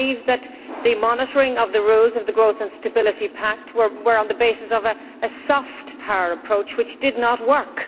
I believe that the monitoring of the rules of the Growth and Stability Pact were on the basis of a soft' power approach which did not work.